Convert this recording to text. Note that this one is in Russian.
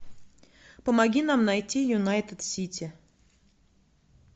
помоги нам найти юнайтед сити